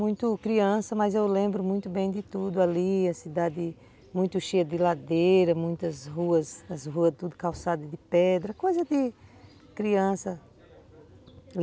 Muito criança, mas eu lembro muito bem de tudo ali, a cidade muito cheia de ladeira, muitas ruas, as ruas tudo calçada de pedra, coisa de criança.